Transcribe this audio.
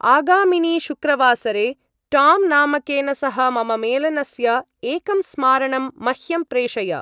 आगामिनि शुक्रवासरे टाम् नामकेन सह मम मेलनस्य एकं स्मारणं मह्यं प्रेषय।